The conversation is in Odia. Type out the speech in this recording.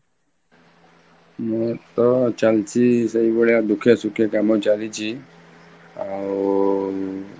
ମୁଁ ତ ଚାଲିଛି ସେଇ ଭଳିଆ ଦୁଃଖେ ସୁଖେ କାମ ଚାଲିଛି, ଆଉ